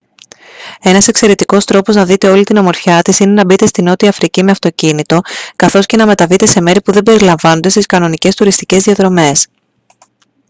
ένας εξαιρετικός τρόπος να δείτε όλη την ομορφιά της είναι να μπείτε στη νότια αφρική με αυτοκίνητο καθώς και να μεταβείτε σε μέρη που δεν περιλαμβάνονται στις κανονικές τουριστικές διαδρομές